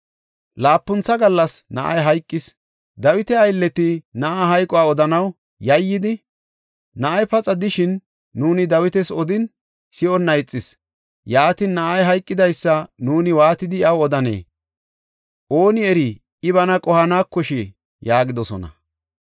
Laapuntha gallas na7ay hayqis. Dawita aylleti na7aa hayquwa odanaw yayyidi, “Na7ay paxa de7ishin nuuni Dawita odisin, si7onna ixis. Yaatin, na7ay hayqidaysa nuuni waatidi iyaw odanee? Ooni eri, I bana qohanekoshii?” yaagidosona.